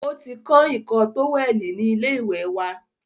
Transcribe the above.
O ti kán ìkọ́ tówẹ̀lì ni ilé ìwẹ̀ wa.